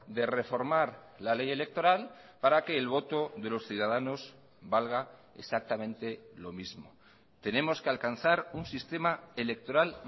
de reformar la ley electoral para que el voto de los ciudadanos valga exactamente lo mismo tenemos que alcanzar un sistema electoral